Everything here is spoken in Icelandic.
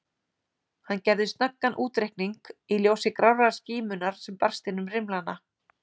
Hann gerði snöggan útreikning í ljósi grárrar skímunnar sem barst inn um rimlana.